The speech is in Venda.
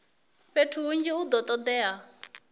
fhethu hunzhi hu do todea